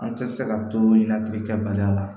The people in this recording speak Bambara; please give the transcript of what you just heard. An tɛ se ka to labirikɛbaliya la